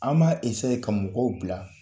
An b'a ka mɔgɔw bila